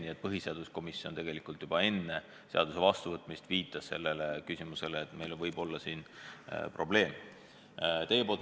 Nii et põhiseaduskomisjon juba enne seaduse vastuvõtmist viitas sellele, et siin võib probleeme olla.